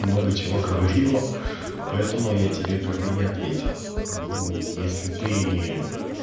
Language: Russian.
много чего говорила поэтому я тебе как бы и ответил ну если ты